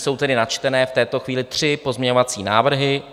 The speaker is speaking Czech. Jsou tedy načtené v této chvíli tři pozměňovací návrhy.